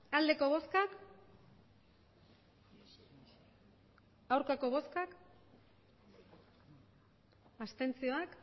emandako botoak hirurogeita